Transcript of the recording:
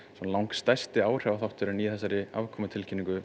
langstærsti áhrifaþátturinn í þessari